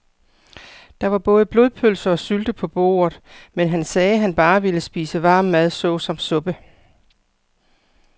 Der var både blodpølse og sylte på bordet, men han sagde, at han bare ville spise varm mad såsom suppe.